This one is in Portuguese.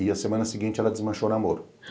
E a semana seguinte ela desmanchou o namoro.